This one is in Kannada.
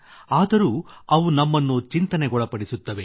ಆದರೂ ಅವು ನಮ್ಮನ್ನು ಚಿಂತನೆಗೊಳಪಡಿಸುತ್ತವೆ